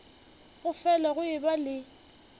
go fele go eba le